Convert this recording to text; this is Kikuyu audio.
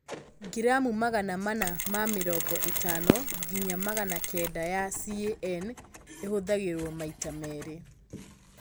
gramu magana mana ma mĩrongo ĩtano nginya magana kenda ya CAN ĩhũthagĩrũo maita merĩ